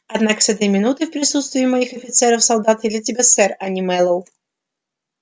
однако с этой минуты в присутствии моих офицеров и солдат я для тебя сэр а не мэллоу